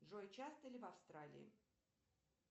джой часто ли в австралии